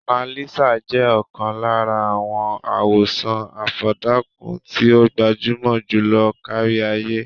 Monalisa jẹ́ ọ̀kan lára àwọn àwòràn àfọ̀dàkùn tí ó gbajúmọ̀ jùlọ kárí-ayé.